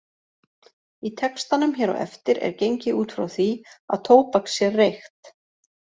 Í textanum hér á eftir er gengið út frá því að tóbak sé reykt.